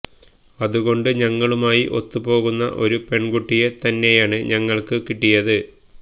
അതുകൊണ്ട് ഞങ്ങളുമായി ഒത്തുപോകുന്ന ഒരു പെൺകുട്ടിയെ തന്നെയാണ് ഞങ്ങൾക്ക് കിട്ടിയത്